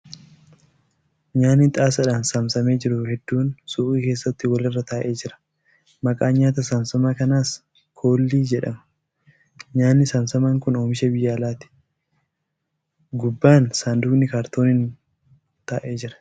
Nyaanni xaasaadhaan saamsame jiru hedduun suuqii keesaatti wal irra taa'ee jira . Maqaan nyaata saamsamaa kanaas ' koollii ' jedhama . Nyaanni saamsamaan kun oomisha biyya alaati . Gubbaan sanduuqni kaartooniin taa'ee jira.